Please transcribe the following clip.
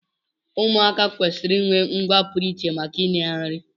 Ụmụaka kwesịrị inwe ngwa pụrụ iche maka inye ha nri